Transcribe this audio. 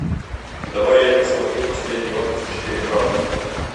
давай я посмотрю последний отпуск четыре ка